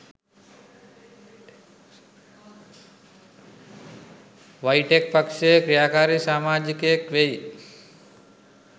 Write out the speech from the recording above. වයිටෙක් පක්ෂයේ ක්‍රියාකාරී සාමාජිකයෙක් වෙයි